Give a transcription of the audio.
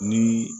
Ni